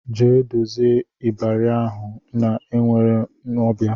Jee dozie ịbarị ahụ na enwere m ọbịa!